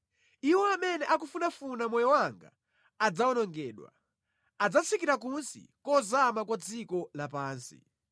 Iwo amene akufunafuna moyo wanga adzawonongedwa; adzatsikira kunsi kozama kwa dziko lapansi.